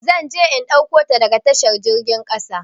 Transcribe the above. Zan je in ɗauko ta daga tashar jirgin kasa.